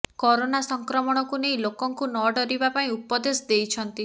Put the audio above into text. corona ସଂକ୍ରମଣକୁ ନେଇ ଲୋକଙ୍କୁ ନ ଡରିବା ପାଇଁ ଉପଦେଶ ଦେଇଛନ୍ତି